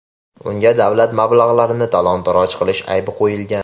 Unga davlat mablag‘larini talon-taroj qilish aybi qo‘yilgan.